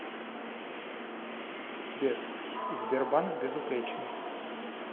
сбер сбербанк безупречный